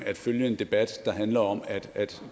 at følge en debat der handler om at